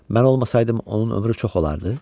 Mən olmasaydım onun ömrü çox olardı?